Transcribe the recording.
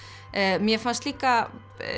mér fannst líka